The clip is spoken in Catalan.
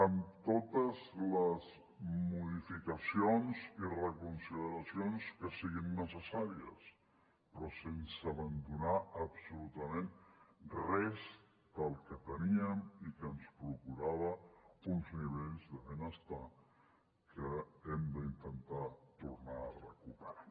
amb totes les modificacions i reconsideracions que siguin necessàries però sense abandonar absolutament res del que teníem i que ens procurava uns nivells de benestar que hem d’intentar tornar a recuperar